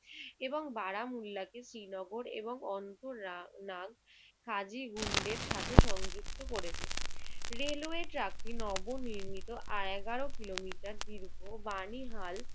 এবং বারামউল্লাহকে শ্রীনগর এবং অন্তরা~ নাগ খাজিন গুন্ডের সাথে সংযুক্ত করেছে। রেলওয়ে ট্র্যাকটি নবনির্মিত আহ এগারো কিলোমিটার দীর্ঘ বাণীহাল